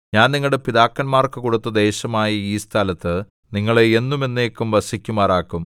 ഞാൻ നിങ്ങളുടെ പിതാക്കന്മാർക്കു കൊടുത്ത ദേശമായ ഈ സ്ഥലത്ത് നിങ്ങളെ എന്നും എന്നേക്കും വസിക്കുമാറാക്കും